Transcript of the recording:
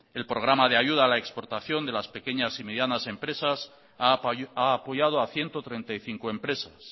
el programa de ayuda a la exportación de las pequeñas y medianas empresas ha apoyado a ciento treinta y cinco empresas